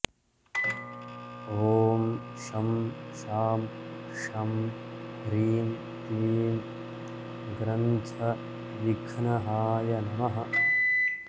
ॐ शं शां षं ह्रीं क्लीं ग्रन्थविघ्नहाय नमः